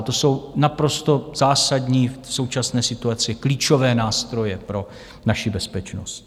A to jsou naprosto zásadní, v současné situaci klíčové nástroje pro naši bezpečnost.